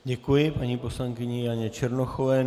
Děkuji paní poslankyni Janě Černochové.